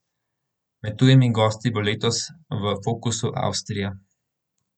Med tujimi gosti bo letos v fokusu Avstrija.